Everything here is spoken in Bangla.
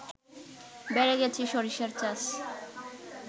বেড়ে গেছে সরিষার চাষ